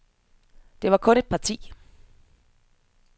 Der var kun et parti.